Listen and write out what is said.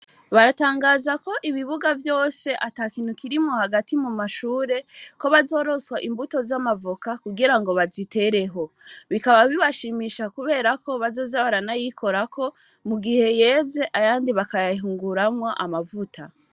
Baratangaza ko ibibuga vyose atakintukirimwo hagati mu mashure ko bazoroswa imbuto z'amavoka kugira ngo bazitereho bikaba bibashimisha kuberako bazoze baranayikorako mu gihe yeze ayandi bakayahunguramwa amavuta.